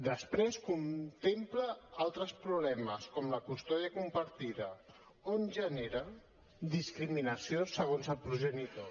després contempla altres problemes com la custòdia compartida on genera discriminació segons el progenitor